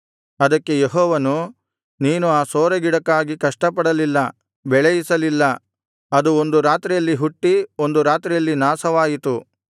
ಅದಕ್ಕೆ ಯೆಹೋವನು ನೀನು ಆ ಸೋರೆಗಿಡಕ್ಕಾಗಿ ಕಷ್ಟಪಡಲಿಲ್ಲ ಬೆಳೆಯಿಸಲಿಲ್ಲ ಅದು ಒಂದು ರಾತ್ರಿಯಲ್ಲಿ ಹುಟ್ಟಿ ಒಂದು ರಾತ್ರಿಯಲ್ಲಿ ನಾಶವಾಯಿತು